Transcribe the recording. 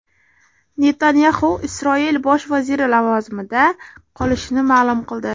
Netanyaxu Isroil bosh vaziri lavozimida qolishini ma’lum qildi.